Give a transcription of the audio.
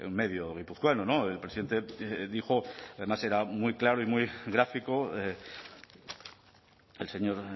medio guipuzcoano el presidente dijo además era muy claro y muy gráfico el señor